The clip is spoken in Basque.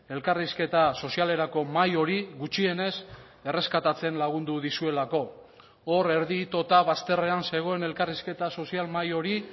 elkarrizketa sozialerako mahai hori gutxienez erreskatatzen lagundu dizuelako hor erdi itota bazterrean zegoen elkarrizketa sozial mahai hori